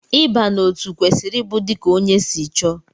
Ịba n'otu kwesịrị ịbụ dika ónyé si chọọ.